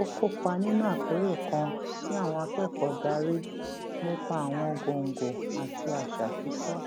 ó kópa nínú àpérò kan tí àwọn akẹkọọ darí nípa àwọn góńgó àti àṣà kíkọ